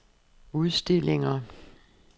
udstillinger